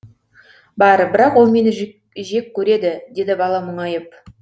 бар бірақ ол мені жек көреді деді бала мұңайып